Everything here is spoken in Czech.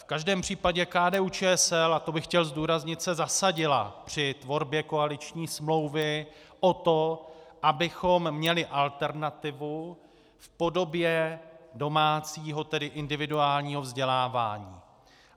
V každém případě KDU-ČSL, a to bych chtěl zdůraznit, se zasadila při tvorbě koaliční smlouvy o to, abychom měli alternativu v podobě domácího, tedy individuálního vzdělávání.